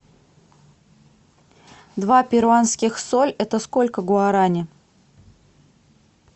два перуанских соль это сколько гуарани